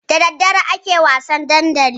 Da daddare ake wasan dandali.